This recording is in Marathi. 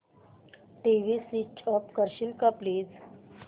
टीव्ही स्वीच ऑफ करशील का प्लीज